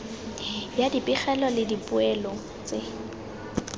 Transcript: ya dipegelo le dipoelo tse